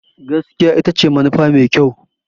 Gaskiya ita ce manufa mafi kyau.